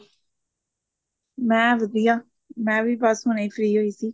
ਮੈਂ ਵਧੀਆ ਮੈਂ ਵੀ ਬੱਸ ਹੁਣੇ ਹੀ free ਹੋਈ ਸੀ